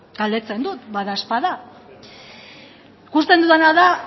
galdetzen dut badaezpada ikusten dudana da